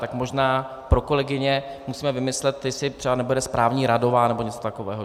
Tak možná pro kolegyně musíme vymyslet, jestli třeba nebude správní radová nebo něco takového.